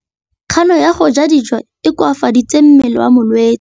Kganô ya go ja dijo e koafaditse mmele wa molwetse.